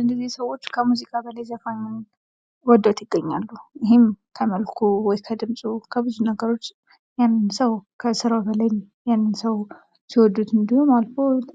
እነዚህ ሰዎች ከሙዚቃው በላይ ዘፋኙን ወደውት ይገኛሉ ።ይህም ከመልኩ ከድምጹ ወይም ከብዙ ነገሮች ያንን ሰው ከስራው በላይ ያንን ሰው ሲወዱት እንዲሁም